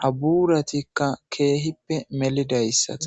ha buuratikka keehippe melidayssata.